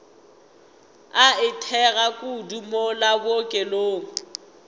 a itekago kudu mola bookelong